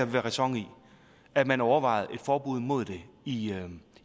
være ræson i at man overvejer et forbud mod det i